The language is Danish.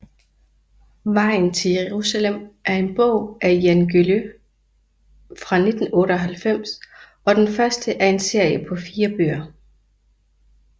Vejen til Jerusalem er en bog af Jan Guillou fra 1998 og den første af en serie på fire bøger